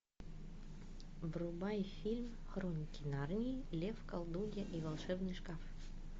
врубай фильм хроники нарнии лев колдунья и волшебный шкаф